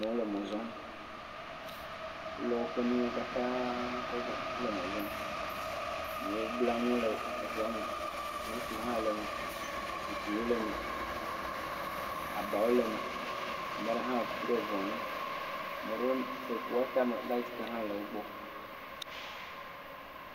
Amewo le mɔ zɔm, wolɔ woƒe nuwo katã kɔ dzɔ kɔ le mɔ zɔm. Amewo bla nu le ŋua me, moto hã le eme, zikpuiwo le eme, abawo le eme, ame aɖe hã ku ɖe ŋua ŋu, ame aɖewo de ŋua tame, lati hã le wo gbɔ.